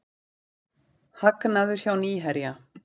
Hagnaður hjá Nýherja